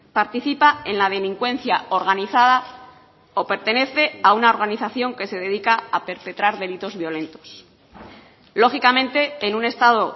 participa en la delincuencia organizada o pertenece a una organización que se dedica a perpetrar delitos violentos lógicamente en un estado